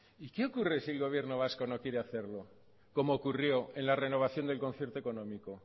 y qué ocurre si el gobierno vasco no quiere hacerlo como ocurrió en la renovación del concierto económico